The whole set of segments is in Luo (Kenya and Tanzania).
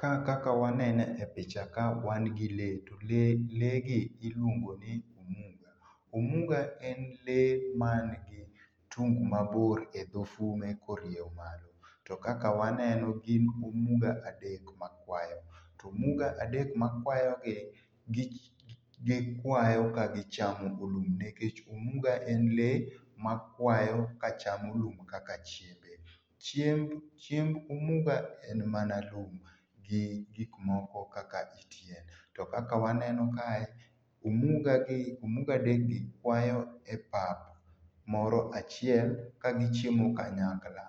Kaa kaka waneno e picha kaa wan gi lee to lee lee gi iluongoni omuga. Omuga en lee man gi tung mabor edho fume korieyo malo to kaka waneno gin omuga adek makwayo to omuga adek makwayogi gik gikwayo ka gichamo lum nikech omuga en lee makwayo kachamo lum kaka chiembe. Chiemb chiemb omuga en mana lum gi gik moko kaka it yien to kaka waneno kae omugagi omuga adekgi kwayo epap moro achiel kagichiemo kanyakla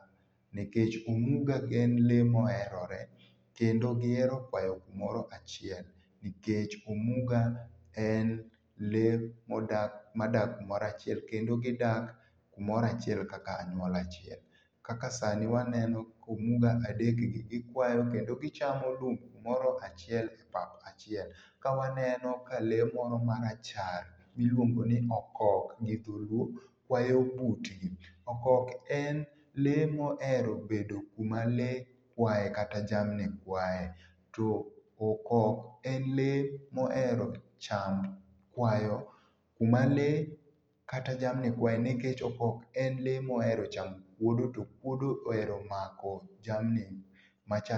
nikech omuga en lee moherore kendo gihero kwayo kumoro achiel nikech omuga en lee moda madak kamoro achiel kendo gidak kumoro achiel kaka anyuola achiel. Kaka sani waneno komuga adekgi gikwayo kendo gichamo lum kumoro achiel epap achiel. Kawaneno ka lee moromarachar miluongo ni okok gidholuo kwayo butni. Okok en lee mohero bedo kuma lee kwayee kata jamni kwayee nikech okok en lee mohero cham okuodo to okuodo ohero mako jamni machalo.